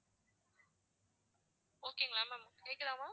okay ங்களா ma'am கேக்குதா ma'am